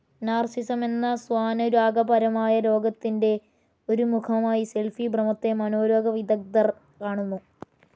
Narcissism എന്ന സ്വാനുരാഗ പരമായ രോഗത്തിന്റെ ഒരു മുഖമായി സെൽഫി ഭ്രമത്തെ മനോരോഗ വിദഗ്ദ്ധർ കാണുന്നു.